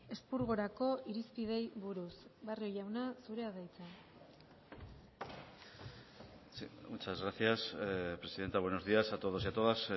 espurgorako irizpideei buruz barrio jauna zurea da hitza muchas gracias presidenta buenos días a todos y a todas